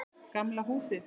Gamla húsið.